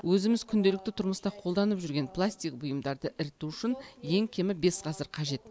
өзіміз күнделікті тұрмыста қолданып жүрген пластик бұйымдарды іріту үшін ең кемі бес ғасыр қажет